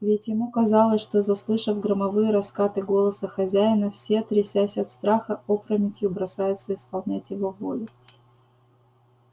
ведь ему казалось что заслышав громовые раскаты голоса хозяина все трясясь от страха опрометью бросаются исполнять его волю